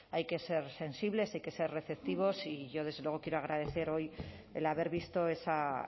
hay que ser sensibles hay que se receptivos y yo desde luego quiero agradecer hoy el haber visto esa